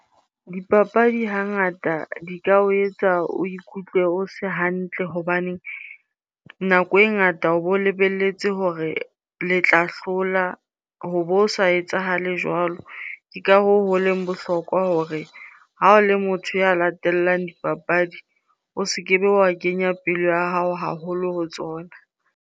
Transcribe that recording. Dipapadi hangata di ka o etsa o ikutlwe o se hantle hobane nako e ngata o bo lebelletse hore le tla hlola ho bo sa etsahale jwalo. Ke ka hoo ho leng bohlokwa hore ha o le motho ya latellang dipapadi, o se kebe wa kenya pelo ya hao haholo ho tsona.